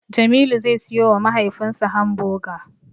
Jamilu zai siyowa mahaifinsa Hamboga.